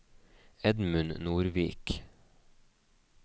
Edmund Nordvik